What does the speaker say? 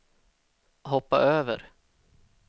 hoppa över